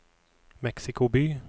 Mexico by